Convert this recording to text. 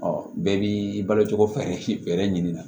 bɛɛ b'i balo cogo fɛrɛ ɲini na